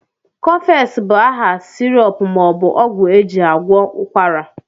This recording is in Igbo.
Cofex bụ aha syrp maọbụ ọgwụ ejị agwọ ụkwara